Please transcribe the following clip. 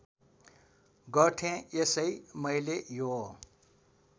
गर्थेँ यसै मैले यो